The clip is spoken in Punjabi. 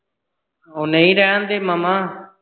ਉਹ ਨਹੀਂ ਰਹਿਣ ਦੇ ਮਾਮਾ।